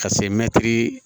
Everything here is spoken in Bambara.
Ka se mɛtiri